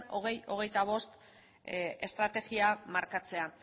bi mila hogeita bost estrategia markatzea